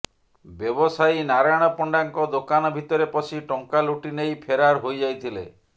ବ୍ୟବସାୟୀ ନାରାୟଣ ପଣ୍ଡାଙ୍କ ଦୋକାନ ଭିତରେ ପଶି ଟଙ୍କା ଲୁଟି ନେଇ ଫେରାର ହୋଇଯାଇଥିଲେ